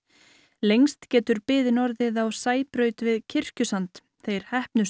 lengst getur biðin orðið á Sæbraut við Kirkjusand þeir